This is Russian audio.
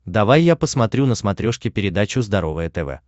давай я посмотрю на смотрешке передачу здоровое тв